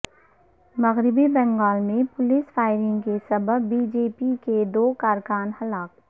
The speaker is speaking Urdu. مغربی بنگال میں پولیس فائرنگ کے سبب بی جے پی کے دو کارکن ہلاک